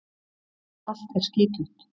Allt er skítugt.